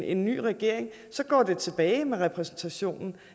en ny regering så går det tilbage med repræsentationen